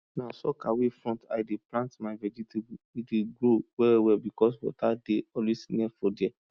na soakaway front i de plant my vegetable e dey grow well well because water dey always near for there